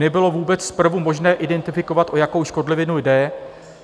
Nebylo vůbec zprvu možné identifikovat, o jakou škodlivinu jde.